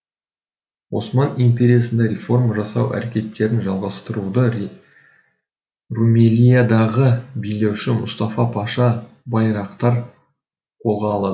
осман империясында реформа жасау әрекеттерін жалғастыруды румелиядағы билеуші мұстафа паша байрақтар қолға алады